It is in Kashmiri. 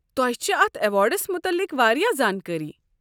تۄہہ چھ اتھ ایواڑس متعلق واریاہ زانٛکٲری۔